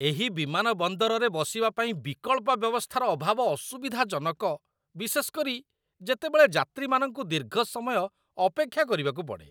ଏହି ବିମାନବନ୍ଦରରେ ବସିବା ପାଇଁ ବିକଳ୍ପ ବ୍ୟବସ୍ଥାର ଅଭାବ ଅସୁବିଧାଜନକ, ବିଶେଷ କରି, ଯେତେବେଳେ ଯାତ୍ରୀମାନଙ୍କୁ ଦୀର୍ଘ ସମୟ ଅପେକ୍ଷା କରିବାକୁ ପଡ଼େ।